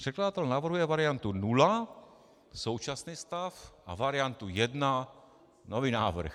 Překladatel navrhuje variantu nula, současný stav, a variantu 1, nový návrh.